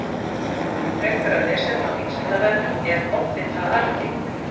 Frekara lesefni á Vísindavefnum Er offita arfgeng?